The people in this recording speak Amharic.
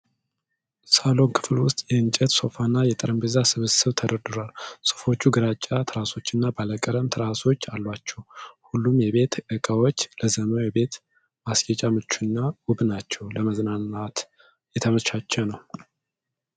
ሳሎን ክፍል ውስጥ የእንጨት ሶፋና የጠረጴዛ ስብስብ ተደርድሯል። ሶፋዎቹ ግራጫ ትራሶችና ባለቀለም ትራሶች አሏቸው። ሁሉም የቤት እቃዎች ለዘመናዊ የቤት ማስጌጥ ምቹና ውብ ናቸው። ለመዝናናት የተመቻቸ ነው?